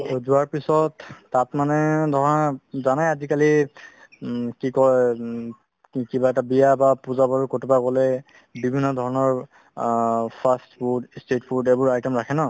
to যোৱাৰ পিছত তাত মানে ধৰা জানাই আজিকালি উম কি কই উম কিবা এটা বিয়া বা পূজা বাৰু ক'ৰবাত গ'লে বিভিন্নধৰণৰ অ fast food, state food এইবোৰ item ৰাখে ন